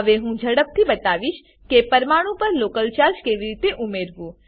હવે હું ઝડપથી બતાવીશ કે પરમાણું પર લોકલ ચાર્જ કેવી રીતે ઉમેરવું